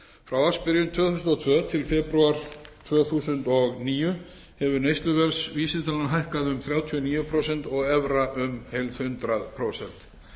frá ársbyrjun tvö þúsund og tvö til febrúar tvö þúsund og níu hefur neysluverðsvísitalan hækkað um þrjátíu og níu prósent og evra um heil hundrað prósent